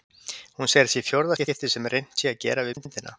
Hún segir að þetta sé í fjórða skipti sem reynt sé að gera við myndina.